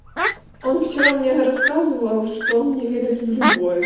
он вчера мне рассказывал что он не верит в любовь